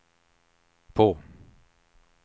på